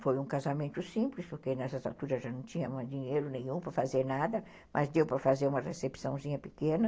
Foi um casamento simples, porque nessas aturas já não tínhamos dinheiro nenhum para fazer nada, mas deu para fazer uma recepçãozinha pequena.